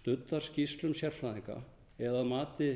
studdar skýrslum sérfræðinga eða að mati